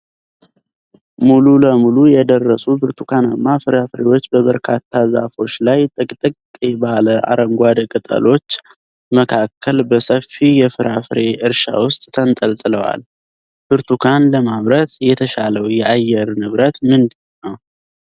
ሙሉ ለሙሉ የደረሱ ብርቱካናማ ፍራፍሬዎች በበርካታ ዛፎች ላይ፣ ጥቅጥቅ ባለ አረንጓዴ ቅጠሎች መካከል፣ በሰፊ የፍራፍሬ እርሻ ውስጥ ተንጠልጥለዋል። ብርቱካን ለማምረት የተሻለው የአየር ንብረት ምንድነው?